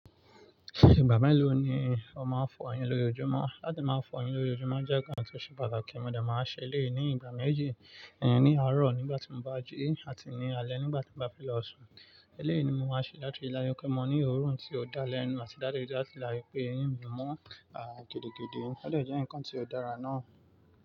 Ìgbà mélòó ni o máa ń fọ eyín lójoojúmọ́? Láti máa fọ eyín lójoojúmọ́ jẹ́ ǹkan tó ṣe pàtàkì, mo dẹ̀ máa ń ṣe eléyì ní ìgbà méjì, ní àárọ̀ nígbà tí mo bá jí àti ní alẹ́ nígbà tí mo bá fẹ́ lọ sùn. Lẹ́ẹ̀ ni mo máa ń ṣe láti láyé pé mo ní òórùn tí ó dá lẹ́nu àti láti láyé pé eyín mi mọ́ kédekéde. Ó dà jẹ́ ǹkan tí ó dára ná.